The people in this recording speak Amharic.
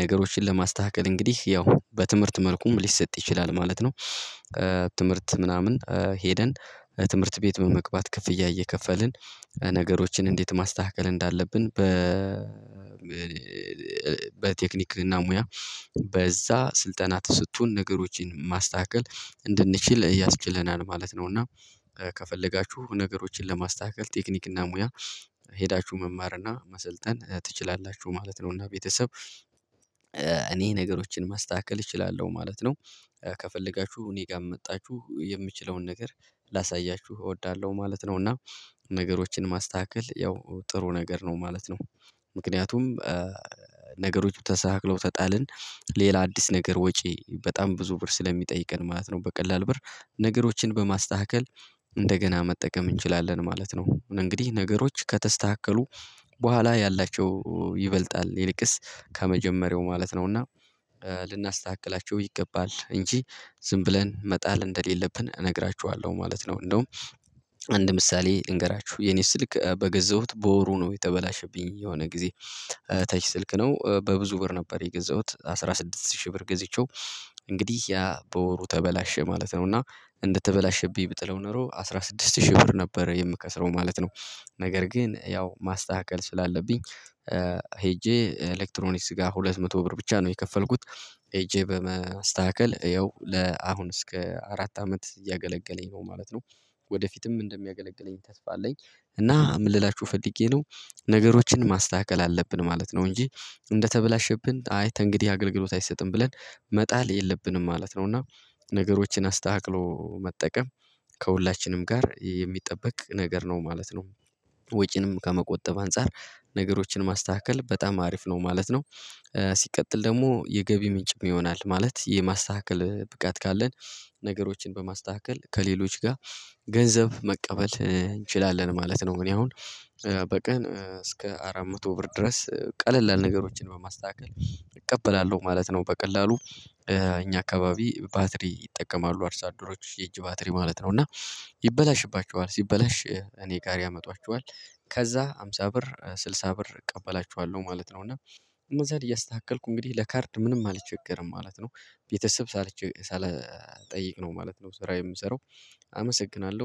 ነገሮችን ለማስተካከል እንግዲህ ያው በትምህርት መልኩም ሊሰጥ ይችላል ማለት ነው። እ ትምህርት ምናምን ኧ ሄደን ትምህርት ቤት በመግባት ክፍያ እየከፈልን ነገሮችን እንዴት ማስተካከል እንዳለብን በ በቴክኒክና ሙያ በዛ ስልጠና ተሰቶን ነገሮችን ማስተካከል እንድንችል ያስችለናል ማለት ነው። እና ከፈለጋችሁ ነገሮችን ለማስተካከል ቴክኒክና ሙያ ሄዳችሁ መማር እና መሰልጠን ትችላላችሁ ማለት ነው። እና ቤተሰብ እኔ ነገሮችን ማስተካከል እችላለሁ ማለት ነው። ከፈለጋችሁ እኔ ጋር መጣቹ የምችለውን ነገር ላሳያችሁ እወዳለሁ ማለት ነው። እና ነገሮችን ማስተካከል ያው ጥሩ ነገር ነው ማለት ነው። ምክንያቱም ኧ ነገሮቹ ተሳክለው ተጣልን ሌላ አዲስ ነገር ወጪ በጣም ብዙ ብር ስለሚጠይቀን ማለት ነው። በቀላል ብር ነገሮችን በማስተካከል እንደገና መጠቀም እንችላለን ማለት ነው። እንግዲህ ነገሮች ከተስተካከሉ በኋላ ያላቸው ይበልጣል ይልቅስ ከመጀመሪያው ማለት ነው። እና ልናስተካክላቸው ይገባል። እንጂ ዝም ብለን መጣል እንደሌለብን እነግራችኋለሁ ማለት ነው። እንደውም አንድ ምሳሌ ልንገራቹ። የኔ ስልክ በገዛሁት በወሩ ነው የተበላሸብኝ የሆነ ጊዜ። ተች ስልክ ነው። በብዙ ብር ነበር የገዛሁት። አስራ ስድስት ሺህ ብር ገዝቼው እንግዲህ ያ በወሩ ተበላሸ ማለት ነው። እና እንደተበላሸብኝ ብጥለው ኖሮ አስራ ስድስት ሺህ ብር ነበረ የምከስረው ማለት ነው። ነገር ግን ያው ማስተካከል ስላለብኝ ኧ ሄጄ ኤሌክትሮኒክስ ጋር ሁለት መቶ ብር ብቻ ነው የከፈልኩት። ሄጄ በመስተሀከል እየው ለአሁን እስከ አራት አመት እያገለገለኝ ነው ማለት ነው። ወደፊትም እንደሚያገለግለኝ ተስፋ አለኝ። እና ምን ልላችሁ ፈልጌ ነው። ነገሮችን ማስተሀከል አለብን ማለት ነው። እንጂ እንደተበላሸብን አይ ተንግዲህ አገልግሎት አይሰጥም ብለን መጣል የለብንም ማለት ነው። እና ነገሮችን አስታሀክሎ መጠቀም ከሁላችንም ጋር የሚጠበቅ ነገር ነው ማለት ነው። ወጪንም ከመቆጠብ አንፃር ነገሮችን ማስተሀከል በጣም አሪፍ ነው ማለት ነው። እ ሲቀጥል ደግሞ የገቢ ምንጭም ይሆናል። ማለት የማስተሀከል ብቃት ካለን ነገሮችን በማስተሀከል ከሌሎች ጋር ገንዘብ መቀበል እ እንችላለን ማለት ነው። እኔ አሁን እ በቀን እስከ አራት መቶ ብር ድረስ እ ቀላለል ነገሮችን በማስተሀከል እቀበላለሁ ማለት ነው። በቀላሉ ኧ እኛ አካባቢ ባትሪ ይጠቀማሉ። አርሷደሮች የእጅ ባትሪ ማለት ነው። እና ይበላሽባቸዋል፤ ሲበላሽ እኔ ጋር ያመጧቸዋል። ከዛ ሃምሳ ብር ስድሳ ብር እቀበላቸዋለው ማለት ነው። እና እነዛን እያስተሀከልኩ እንግዲህ ለካርድ ምንም አልቸገርም ማለት ነው። ቤተሰብ ሳልቸ ሳልጠይቅ ነው ማለት ነው። ስራ የምሰራው አመሰግናለሁ።